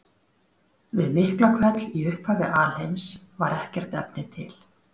Við Miklahvell í upphafi alheims var ekkert efni til.